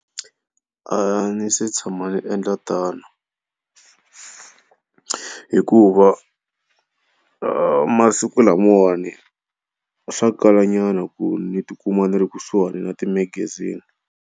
A ni se tshama ni endla tano hikuva masiku lamawani swa kalanyana ku ni ti kuma ni ri kusuhani na ti magazini.